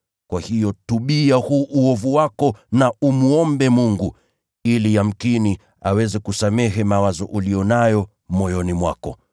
Kwa hiyo tubu kwa uovu huu wako na umwombe Bwana. Yamkini aweza kukusamehe mawazo uliyo nayo moyoni mwako.